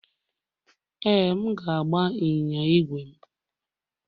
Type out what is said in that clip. Ee, m ga-agba ịnyịnya ígwè m.